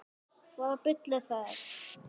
Hvaða bull er það?